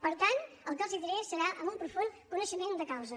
per tant el que els diré serà amb un profund coneixement de causa